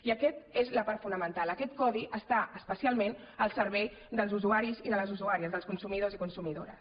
i aquesta és la part fonamental aquest codi està especialment al servei dels usuaris i de les usuàries dels consumidors i consumidores